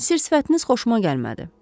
Sifətiniz xoşuma gəlmədi.